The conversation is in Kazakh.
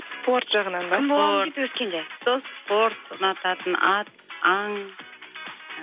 спорт жағынан ба кім боламын дейді өскенде сол спорт ұнататын ат аң